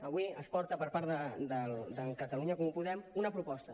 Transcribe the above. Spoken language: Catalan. avui es porta per part de catalunya en comú podem una proposta